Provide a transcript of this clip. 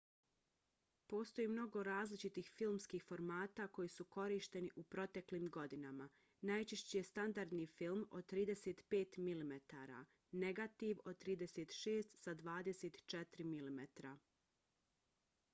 postoji mnogo različitih filmskih formata koji su korišteni u proteklim godinama. najčešći je standardni film od 35 mm negativ od 36 sa 24 mm